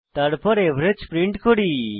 তারপর average print করি